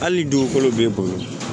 Hali dugukolo b'e bolo